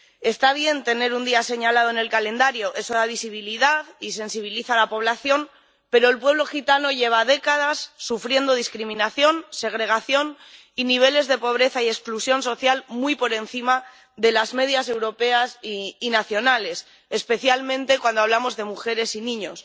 Está bien tener un día señalado en el calendario eso da visibilidad y sensibiliza a la población, pero el pueblo gitano lleva décadas sufriendo discriminación, segregación y niveles de pobreza y exclusión social muy por encima de las medias europeas y nacionales, especialmente cuando hablamos de mujeres y niños.